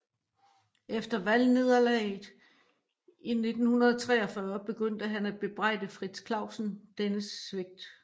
Efter valgnederlaget i 1943 begyndte han at bebrejde Frits Clausen dennes svigt